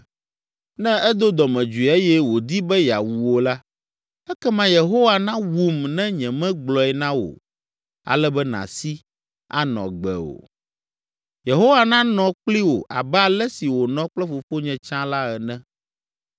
Ne edo dɔmedzoe eye wòdi be yeawu wò la, ekema Yehowa nawum ne nyemegblɔe na wò ale be nàsi, anɔ agbe o. Yehowa nanɔ kpli wò abe ale si wònɔ kple fofonye tsã la ene.